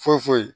Foyi foyi